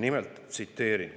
Nimelt, tsiteerin: